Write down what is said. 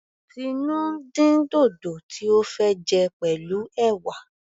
Tinu ń dín dòdò tí ó fẹ́ jẹ pẹ̀lú ẹ̀wà.